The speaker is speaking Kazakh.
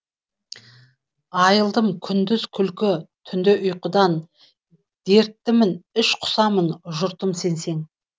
айрылдым күндіз күлкі түнде ұйқыдан дерттімін іш құсамын жұртым сенсең